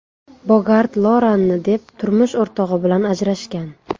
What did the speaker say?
Bogart Loranni deb turmush o‘rtog‘i bilan ajrashgan.